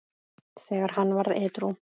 þegar hann varð edrú.